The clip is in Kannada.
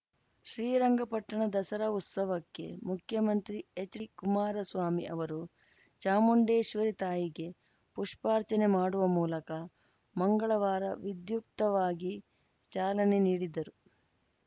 ಶ್ರೀರಂಗಪಟ್ಟಣ ದಸರಾ ಉತ್ಸವಕ್ಕೆ ಮುಖ್ಯಮಂತ್ರಿ ಎಚ್‌ಡಿಕುಮಾರಸ್ವಾಮಿ ಅವರು ಚಾಮುಂಡೇಶ್ವರಿ ತಾಯಿಗೆ ಪುಷ್ಪಾರ್ಚನೆ ಮಾಡುವ ಮೂಲಕ ಮಂಗಳವಾರ ವಿಧ್ಯುಕ್ತವಾಗಿ ಚಾಲನೆ ನೀಡಿದರು